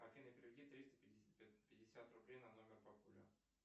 афина переведи триста пятьдесят рублей на номер папуля